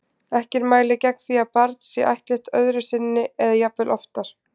Ekkert mælir gegn því að barn sé ættleitt öðru sinni eða jafnvel oftar.